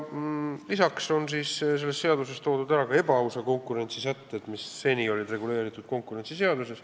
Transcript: Lisaks on selles seaduses toodud ära ebaausa konkurentsi sätted, mis seni olid reguleeritud konkurentsiseaduses.